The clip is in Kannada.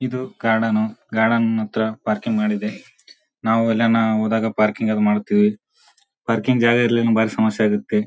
ಇದು ಗಾರ್ಡನ್ ಗಾರ್ಡನ್ ಹತ್ರ ಪಾರ್ಕಿಂಗ್ ಮಾಡಿದೆ ನಾವು ಎಲ್ಲನ ಹೋದಾಗ ಪಾರ್ಕಿಂಗ್ ಎಲ್ಲ ಮಾಡ್ತೀವಿ ಪಾರ್ಕಿಂಗ್ ಜಾಗ ಇಲ್ಲಾಂದ್ರೆ ಬಾರಿ ಸಮಸ್ಯೆ ಆಗುತ್ತೆ.